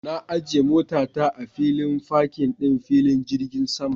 Na ajiye motata a filin fakin ɗin filin jirgin sama